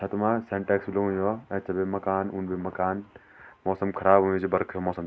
छत मा सिंटेक्स भी लगन्यु वो ऐथर भी मकान उंद भी मकान मौसम ख़राब हुयुं च बरखा क मौसम।